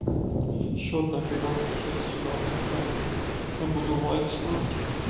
счёт наперёд пиши сюда в кафе я буду лайки ставить